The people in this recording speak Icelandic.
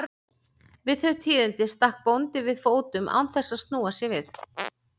Við þau tíðindi stakk bóndi við fótum án þess að snúa sér við.